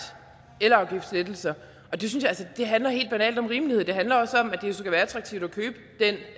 elafgiftslettelser det handler helt banalt om rimelighed og det handler også om at det skal være attraktivt